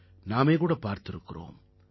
நாமே கூட பார்த்திருக்கிறோம்